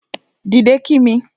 Dìde kí mi